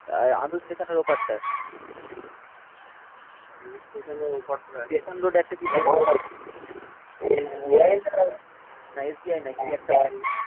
আন্দুল স্টেশনের ওপারটায় station road একটা কি ব্যাঙ্ক, না SBI না কি একটা